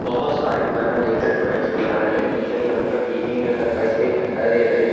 बहोत सारे कलर लेकर द्रोइंग्स बना रहे है टीचर यहाँ पर टीचिंग नही कर पाई इस लिए पेहरा ले रहे है।